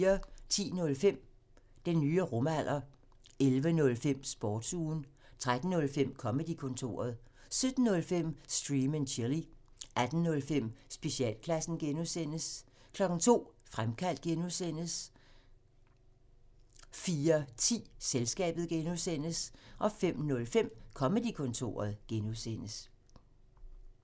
10:05: Den nye rumalder 11:05: Sportsugen 13:05: Comedy-kontoret 17:05: Stream and chill 18:05: Specialklassen (G) 02:00: Fremkaldt (G) 04:10: Selskabet (G) 05:05: Comedy-kontoret (G)